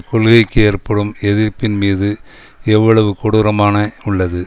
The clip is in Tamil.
கொள்கைக்கு ஏற்படும் எதிர்ப்பின் மீது எவ்வளவு கொடூரமான உள்ளது